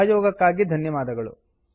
ಸಹಯೋಗಕ್ಕಾಗಿ ಧನ್ಯವಾದಗಳು